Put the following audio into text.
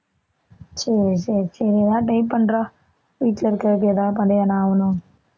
சரி, சரி சரி ஏதாவது try பண்ணுடா வீட்டில இருக்கிறதுக்கு ஏதாவது பண்ணிதான ஆகணும்